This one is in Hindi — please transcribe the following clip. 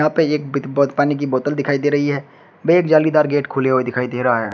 यहां पे एक बित बोत पानी का बोतल दिखाई दे रही है व एक जालीदार गेट खुले हुए दिखाई दे रहा है।